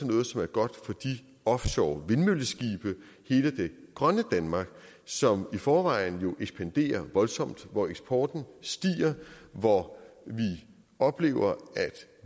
noget som er godt for de offshorevindmølleskibe hele det grønne danmark som i forvejen jo ekspanderer voldsomt hvor eksporten stiger og hvor vi oplever